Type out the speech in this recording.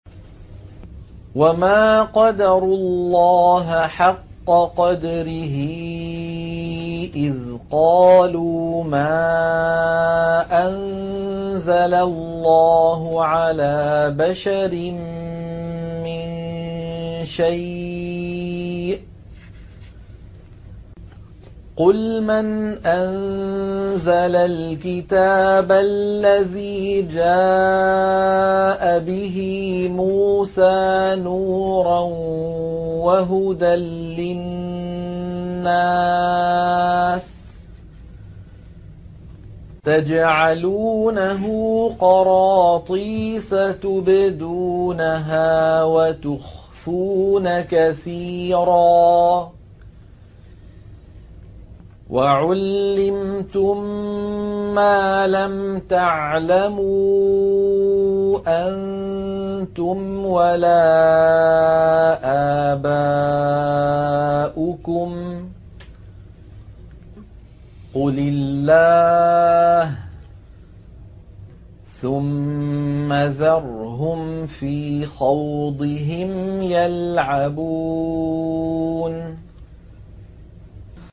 وَمَا قَدَرُوا اللَّهَ حَقَّ قَدْرِهِ إِذْ قَالُوا مَا أَنزَلَ اللَّهُ عَلَىٰ بَشَرٍ مِّن شَيْءٍ ۗ قُلْ مَنْ أَنزَلَ الْكِتَابَ الَّذِي جَاءَ بِهِ مُوسَىٰ نُورًا وَهُدًى لِّلنَّاسِ ۖ تَجْعَلُونَهُ قَرَاطِيسَ تُبْدُونَهَا وَتُخْفُونَ كَثِيرًا ۖ وَعُلِّمْتُم مَّا لَمْ تَعْلَمُوا أَنتُمْ وَلَا آبَاؤُكُمْ ۖ قُلِ اللَّهُ ۖ ثُمَّ ذَرْهُمْ فِي خَوْضِهِمْ يَلْعَبُونَ